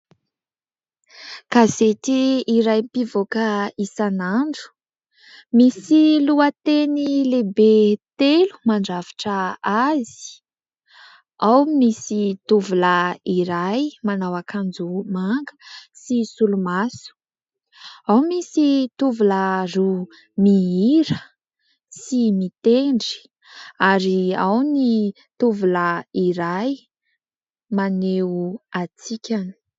Gazety iray mpivoaka isanandro. Misy lohateny lehibe telo mandrafitra azy. Ao misy tovolahy iray manao akanjo manga sy solomaso, ao misy tovolahy roa mihira sy mitendry ary ao ny tovolahy iray, maneho hatsikana.